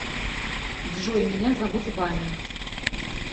джой меня зовут ваня